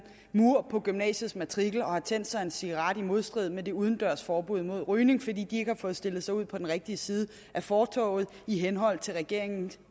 mur på gymnasiets matrikel og har tændt sig en cigaret i modstrid med det udendørs forbud mod rygning fordi ikke har fået stillet sig ud på den rigtige side af fortovet i henhold til regeringens